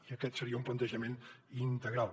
i aquest seria un plantejament integral